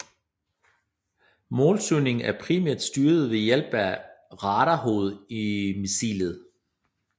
Målsøgningen er primært styret ved hjælp af radarhovedet i missilet